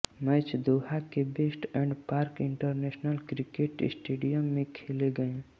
match Doha के West End Park International Cricket Stadium में खेले गए